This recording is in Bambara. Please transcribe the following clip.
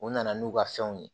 U nana n'u ka fɛnw ye